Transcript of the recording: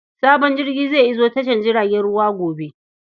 Sabon jirgi zai iso tashar jiragen ruwa gobe.